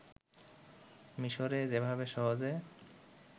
মিশোরে যেভাবে সহজে